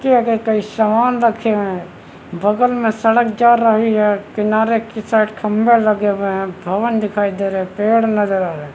इसके आगे कई सामान रखे है बगल में सड़क जा रही है किनारे की साइड खम्भे लगे हुए है भवन दिखाई दे रही हैं पेड़ नज़र आ रहे है ।